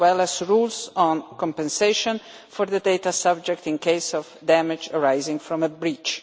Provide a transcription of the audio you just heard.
as well as rules on compensation for the data subject in the event of damage arising from a breach.